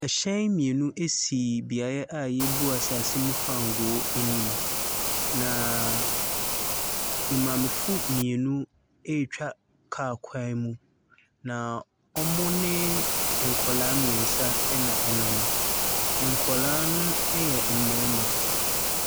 Hyɛn mmienu asi beaeɛ bi a yɛrebu asaase mu fangoo anim, na maamefo mmienu ɛretwa kaa kwan no ɛmu. Na wɔne nkwadaa mmiɛnsa ɛna ɛnam. Nkwadaa no ɛyɛ mmarima.